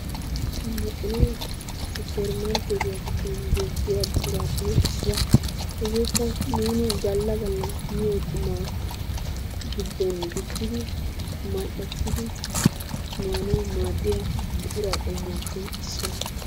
Maxxinee supper markkeetiya giddon beetiya buquraappe issuwa, hegeekka nuuni galla galla miyo qummaa giddon gujjidi mal'ettidi maanawu maadiyaa buquraa qommuwappe issuwa.